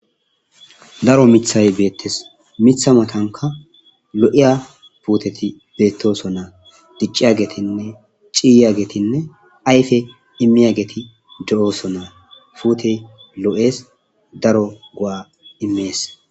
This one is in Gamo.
Daro mithay beettes mitha matanka lo7eya puuteti beettoson naa dicciya geetinne ciyya getinne ayfe immiya geeti do7ooso naa pute lo7es daro gua imees.